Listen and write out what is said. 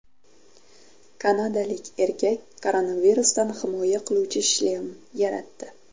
Kanadalik erkak koronavirusdan himoya qiluvchi shlem yaratdi .